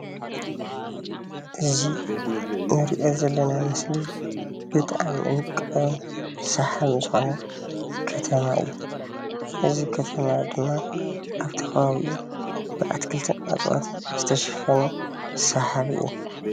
እዚ እነሪኦ ዘለና ምስሊ ብጣዕሚ ወቃቢን ሰሓቢን ዝኮነ ከተማ እዩ፡፡ እዚ ከተማ ድማ ኣብቲ ከባቢኡ ብኣትክልትን እፅዋትን ዝተሸፈነ ሰሓቢ እዩ፡፡